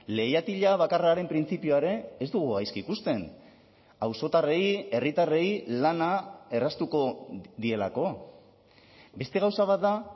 leihatila bakarraren printzipioa ere ez dugu gaizki ikusten auzotarrei herritarrei lana erraztuko dielako beste gauza bat da